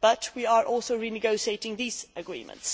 but we are also renegotiating these agreements.